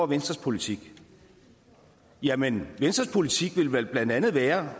venstres politik jamen venstres politik ville vel blandt andet være